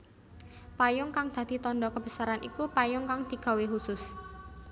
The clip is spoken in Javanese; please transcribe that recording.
Payung kang dadi tandha kebesaran iku payung kang digawé khusus